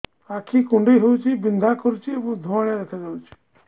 ଆଖି କୁଂଡେଇ ହେଉଛି ବିଂଧା କରୁଛି ଏବଂ ଧୁଁଆଳିଆ ଦେଖାଯାଉଛି